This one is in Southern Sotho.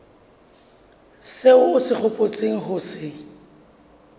seo o hopotseng ho se